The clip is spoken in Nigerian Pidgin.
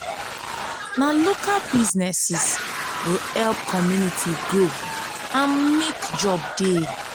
na local businesses go help community grow and mek job dey.